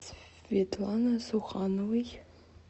светланы сухановой